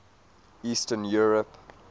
eastern europe